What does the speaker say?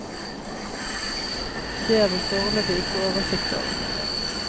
Det har vi foreløpig ikke oversikt over.